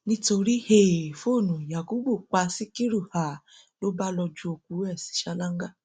nítorí um fóònù yakubu pa síkírù um ló bá lọọ ju òkú ẹ sí ṣáláńgá